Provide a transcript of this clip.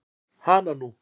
Hana nú.